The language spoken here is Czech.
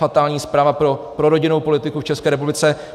Fatální zpráva pro rodinnou politiku v České republice.